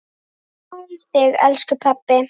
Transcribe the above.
Ég man þig, elsku pabbi.